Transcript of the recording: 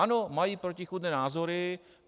Ano, mají protichůdné názory.